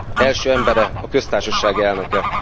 első embere, köztársasági elnöke.